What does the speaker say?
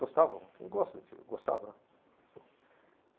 Gostava muito, ele gosta de Ati, gostava, né? Faleceu.